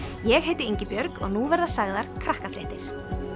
ég heiti Ingibjörg og nú verða sagðar krakkafréttir